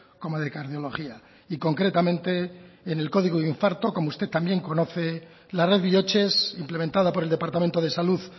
como de cardiología y concretamente en el código infarto como usted también conoce la red bihotzez implementada por el departamento de salud